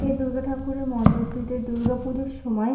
এ দুর্গা ঠাকুরের মণ্ডপটিতে দুর্গাপূজাোর সময়--